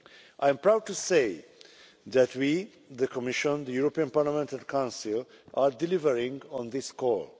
I am proud to say that we, the Commission, the European Parliament and the Council, are delivering on this call.